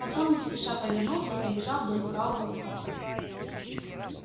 потом не спеша повернулся и побежал вдоль правого рукава